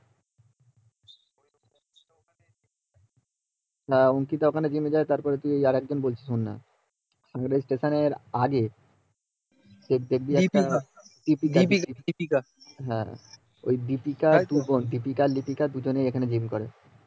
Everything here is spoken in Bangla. হ্যাঁ অঙ্কিতা ওখানে জিম এ যায় তার পরে আর একজন কে দেখি লিপিকা দীপিকা এই দীপিকা আর লিপিকা দুই বোন এখানে জিম করে